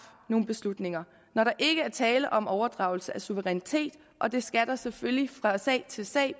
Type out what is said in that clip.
nogle beslutninger når der ikke er tale om overdragelse af suverænitet og det skal selvfølgelig bedømmes fra sag til sag